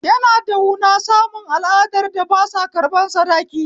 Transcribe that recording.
Yana da wuna samun al'adar da basa ƙarɓan sadaki